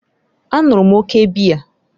A ṅụrụ m òkè biya.